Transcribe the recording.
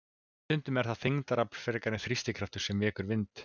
Stundum er það þyngdarafl frekar en þrýstikraftur sem vekur vind.